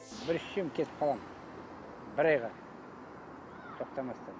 бір ішсем кетіп қаламын бір айға тоқтамастан